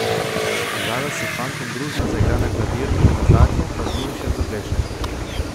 Zala s fantom družno zaigra na klavir, nazadnje pa z njim še zapleše.